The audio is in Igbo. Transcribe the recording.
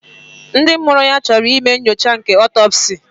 Ndị mụrụ ya chọrọ ime nyocha nke otopsi